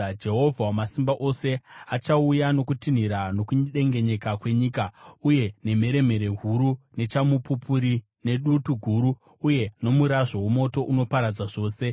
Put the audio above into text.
Jehovha Wamasimba Ose achauya nokutinhira nokudengenyeka kwenyika, uye nemheremhere huru, nechamupupuri, nedutu guru uye nomurazvo womoto unoparadza zvose.